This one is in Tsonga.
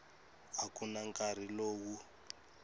a ku na nkarhi lowu